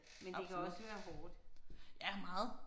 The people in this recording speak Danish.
Men det kan også være hårdt